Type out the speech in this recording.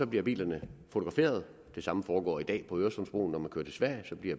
bliver bilerne fotograferet det samme foregår i dag på øresundsbroen når man kører til sverige